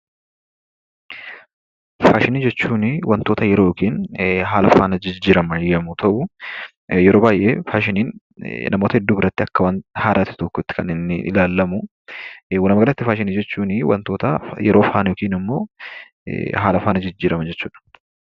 Faashinii jechuunni waantota yeroo yookiinnhaala fannaa jijjiramannyeroo ta'u, yeroo baay'ee faashinniin namoota biraatti akka haaraatti kan ilaallamuu. Dhumaarratti faashinii jechuunbwaantoota yeroo fana yookiin immoo haalaa fana jijjiramuu jechuudha.